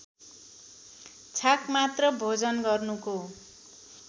छाक मात्र भोजन गर्नुको